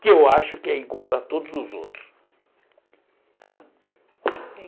Que eu acho que é igual a todos os outros. Tá